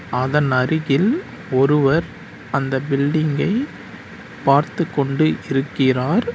அதன் அருகில் ஒருவர் அந்த பில்டிங்கை பார்த்துக் கொண்டு இருக்கிறார்.